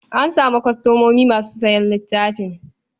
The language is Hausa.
An samu kwastomomi masu sayan littafin.